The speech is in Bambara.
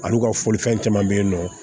Al'u ka foli fɛn caman bɛ yen nɔ